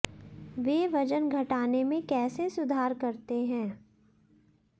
वे वजन घटाने में कैसे सुधार करते हैं